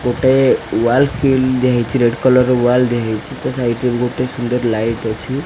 ଗୋଟେ ୱାଲ୍ କିଲ୍ ଦିଆ ହେଇଚି ରେଡ୍ କଲର୍ ର ୱାଲ୍ ଦିଆ ହେଇଚି। ତା ସାଇଟ୍ ରେ ଗୋଟେ ସୁନ୍ଦର ଲାଇଟ୍ ଅଛି।